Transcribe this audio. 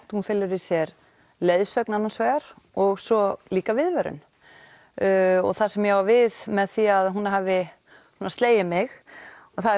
hún felur í sér leiðsögn annars vegar og svo líka viðvörun og það sem ég á við með því að hún hafi slegið mig er